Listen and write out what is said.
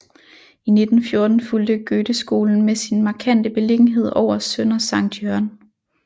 I 1914 fulgte Goetheskolen med sin markante beliggenhed over Sønder Sankt Jørgen